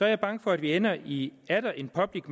jeg bange for at vi ender i atter en public